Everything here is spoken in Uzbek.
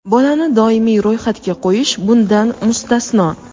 bolani doimiy ro‘yxatga qo‘yish bundan mustasno.